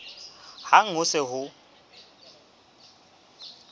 hang ha ho se ho